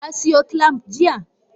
Kasiyo clamp jiya?